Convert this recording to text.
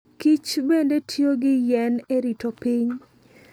kichbende tiyo gi yien e rito piny.